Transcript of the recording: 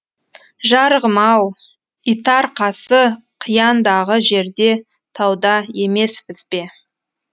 жарығым ау итарқасы қияндағы жерде тауда емеспіз бе